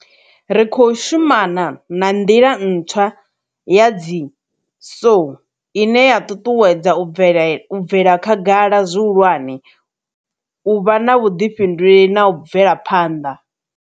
Ri khou shumana na nḓila ntswa ya dzi SOE ine ya ṱuṱuwedza u bvela khagala zwihulwane, u vha na vhuḓifhinduleli na u bvela phanḓa.